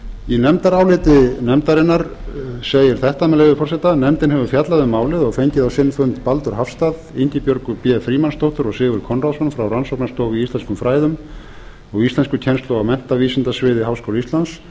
í nefndráliti nefndarinnar segir þetta með leyfi forseta nefndin hefur fjallað um málið og fengið á sinn fund baldur hafstað ingibjörgu b frímannsdóttur og sigurð konráðsson frá rannsóknarstofu í íslenskum fræðum og íslenskukennslu á menntavísindasviði háskóla íslands